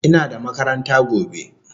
Ina da makaranta gobe